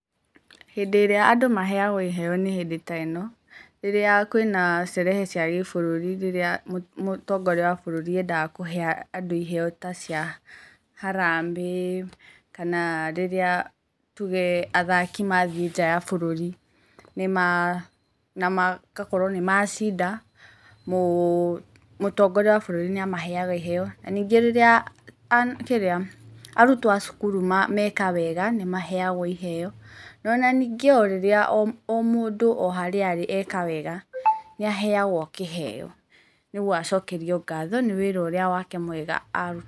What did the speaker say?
Hĩndĩ ĩrĩa andũ maheagwo iheo nĩ hĩndĩ ta ĩno; rĩrĩa kwĩna sherehe cia bũrũri. Rĩrĩa Mũtongoria wa bũrũri endaga kũhe andũ iheo ta cia harambee. Kana rĩrĩa tuge athaki mathiĩ nja wa bũrũri na magakorwo nĩ macinda, Mũtongoria wa bũrũri nĩ amaheaga iheo. Na ningĩ kĩrĩa arutwo a cukuru meka wega nĩ maheagwo iheo. Na ningĩ o mũndũ o harĩa arĩ eka wega, nĩ aheagwo kĩheo nĩguo acokerio ngatho nĩ wĩra ũrĩa wake mwega